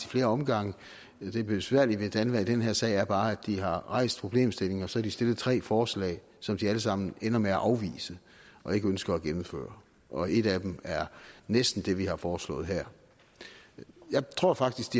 flere omgange det besværlige ved danva i den her sag er bare at de har rejst problemstillingen og så har de stillet tre forslag som de alle sammen ender med at afvise og ikke ønsker at gennemføre og et af dem er næsten det vi har foreslået her jeg tror faktisk